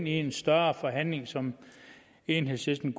i en større forhandling som enhedslisten